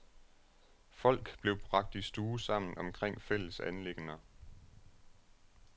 Folk blev bragt i stue sammen omkring fælles anliggender.